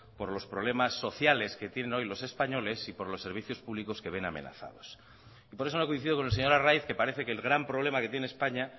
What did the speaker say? por los problemas sociales que tienen hoy los españoles y por los servicios públicos que ven amenazados y por eso no coincido con el señor arraiz que parece que el gran problema que tiene españa